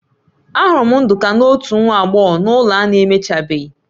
Ahụrụ m Nduka na otu nwa agbọghọ na ụlọ a na-emechabeghị